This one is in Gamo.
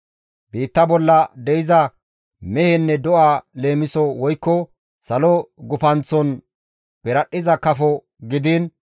Biitta bolla de7iza mehenne do7a leemiso woykko salo gufanththon piradhdhiza kafo gidiin,